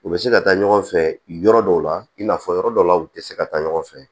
U bɛ se ka taa ɲɔgɔn fɛ yɔrɔ dɔw la i n'a fɔ yɔrɔ dɔw la u tɛ se ka taa ɲɔgɔn fɛ